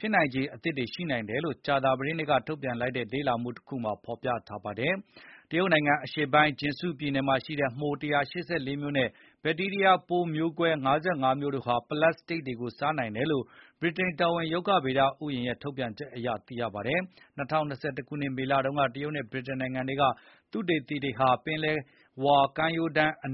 ခြေအသစ်တွေရှိနိုင်တယ်လို့ ကြာသပတေးနေ့ကထုတ်ပြန်လိုက်တဲ့ လေ့လာမှုတစ်ခုမှာဖော်ပြထားတာပါ။ တရုတ်နိုင်ငံ အရှေ့ပိုင်း Jiangsu ပြည်နယ်မှာရှိတဲ့ မှို ၁၈၄ မျိုးနဲ့ ဘက်တီးရီးယား ပိုးမျိုးကွဲ ၅၅ မျိုးတို့ဟာ ပလတ်စတစ်တွေကို စားနိုင်တယ်လို့ ဗြိတိန်က တော်ဝင် ရုက္ခဗေဒ ဥယျာဥ် ရဲ့ ထုတ်ပြန်ချက်အရ သိရပါတယ်။ ၂၀၂၁ ခုနှစ် မေလတုန်းက တရုတ်နဲ့ ဗြိတိန်နိုင်ငံ တွေက သုတေသီတွေဟာ ပင်လယ်ဝါကမ်းရိုးတန်းအ